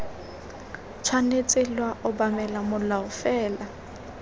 tshwanetse lwa obamela molao fela